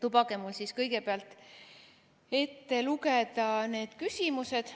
Lubage mul kõigepealt ette lugeda need küsimused.